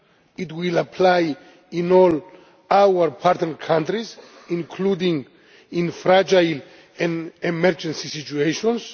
It will apply in all our partner countries, including in fragile and emergency situations.